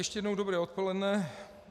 Ještě jednou dobré odpoledne.